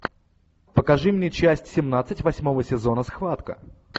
покажи мне часть семнадцать восьмого сезона схватка